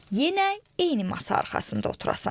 Yenə eyni masa arxasında oturasan.